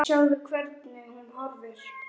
Sjáðu, hvernig hún horfir!